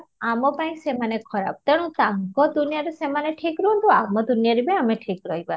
ଆମ ପାଇଁ ସେମାନେ ଖରାପ ତେଣୁ ତାଙ୍କ ଦୁନିଆଁରେ ସେମାନେ ଠିକ ରୁହନ୍ତୁ ଆମ ଦୁନିଆଁରେ ଆମେ ଠିକ ରହିବା